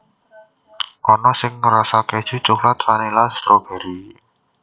Ana sing rasa kèju coklat vanila stroberi